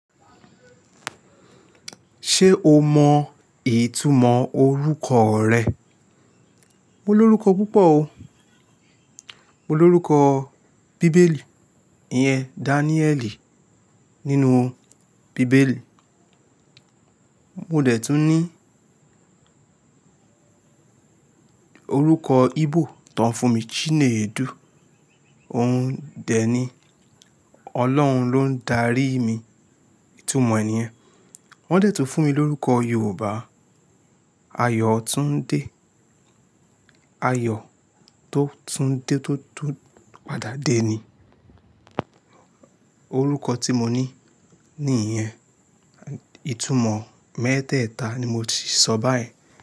Ṣé o mọ ìtumọ̀ orúkọ rẹ? Mo ní orúkọ púpọ̀ o. Mo ní orúkọ bíbélì, ìyẹn Daniẹ́ẹ̀lì nínú bíbélì. Mo dẹ̀ tún ní orúkọ Íbò tó ń fún mi Chinedu, ó ń dẹ ni Ọlọ́run ló ń darí mi, ìtumọ̀ ẹ̀ yẹn. Wọ́n dẹ̀ tún fún mi lórúkọ Yorùbá Ayọ̀túndé. Ayọ̀ tó tún dé tó tún padà dé ni orúkọ tí mo ní ní ìyẹn. Ìtumọ̀ mẹ́tẹ̀ẹ̀ta ni mo ti sọ báyìí.